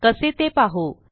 कसे ते पाहू